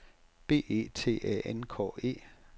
B E T Æ N K E